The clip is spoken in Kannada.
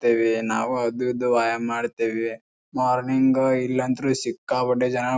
ತೆವೆ ನಾವು ಅದು ಇದು ವ್ಯಾಯಾಮ ಮಾಡತೇವೆ. ಮಾರ್ನಿಂಗ್ ಇಲ್ಲಾ ಅಂದ್ರು ಸಿಕ್ಕಾಪಟ್ಟೆ ಜನ --